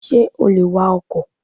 Sé o lè wa ọkò?